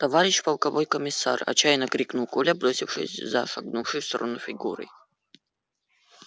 товарищ полковой комиссар отчаянно крикнул коля бросившись за шагнувшей в сторону фигурой